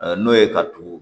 N'o ye ka turu